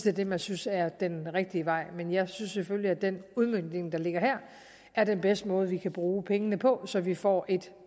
er det man synes er den rigtige vej men jeg synes selvfølgelig at den udmøntning der ligger her er den bedste måde vi kan bruge pengene på så vi får et